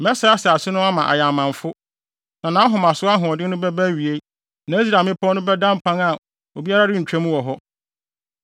Mɛsɛe asase no ama ayɛ amamfo, na nʼahomaso ahoɔden no bɛba awiei na Israel mmepɔw no bɛda mpan a obiara rentwa mu wɔ hɔ.